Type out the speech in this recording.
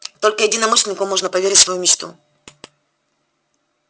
только единомышленнику можно поверить свою мечту